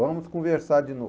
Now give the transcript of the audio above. Vamos conversar de novo.